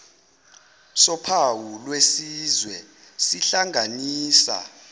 sophawu lwesizwe sihlanganisa